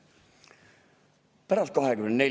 Mis pärast 24.